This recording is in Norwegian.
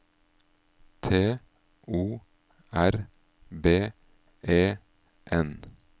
T O R B E N